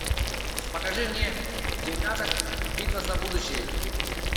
покажи мне терминатор битва за будущее